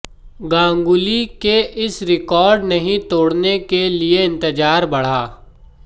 गांगुली के इस रिकॉर्ड नहीं तोड़ने के लिए इंतजार बढ़ा